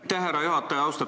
Aitäh, härra juhataja!